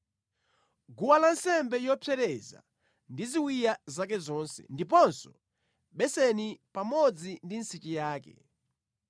guwa lansembe yopsereza ndi ziwiya zake zonse, ndiponso beseni pamodzi ndi nsichi yake.